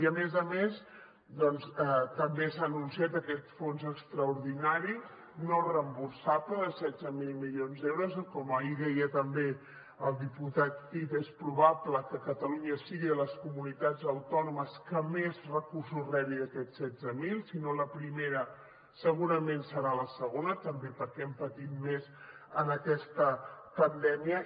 i a més a més doncs també s’ha anunciat aquest fons extraordinari no reemborsable de setze mil milions d’euros que com ahir deia també el diputat cid és probable que catalunya sigui de les comunitats autònomes que més recursos rebi d’aquests setze mil si no la primera segurament serà la segona també perquè hem patit més en aquesta pandèmia